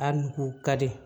A nugu ka di